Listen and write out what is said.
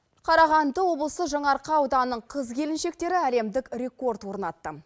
қарағанды облысы жаңаарқа ауданының қыз келіншектері әлемдік рекорд орнатты